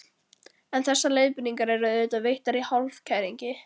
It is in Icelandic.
En þessar leiðbeiningar eru auðvitað veittar í hálfkæringi.